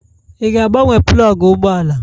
Ị ga-agbanwe plọgụ ụgbọ ala?